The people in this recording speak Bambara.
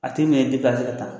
A tɛ ɲɛ i bɛ ka ta.